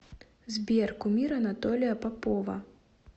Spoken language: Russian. сбер кумир анатолия попова